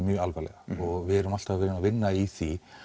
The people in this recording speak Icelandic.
mjög alvarlega og við erum alltaf að vinna í því